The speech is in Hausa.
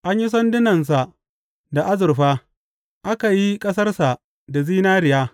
An yi sandunansa da azurfa, aka yi ƙasarsa da zinariya.